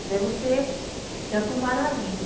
Até você se aprumar na vida.